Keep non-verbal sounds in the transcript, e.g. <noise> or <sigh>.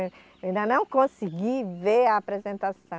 <unintelligible> Ainda não consegui ver a apresentação.